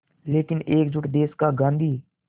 लेकिन एकजुट देश का गांधी